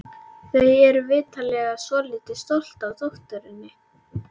Þau eru vitanlega svolítið stolt af dótturinni.